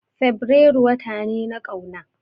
Fabrairu wata ne na ƙauna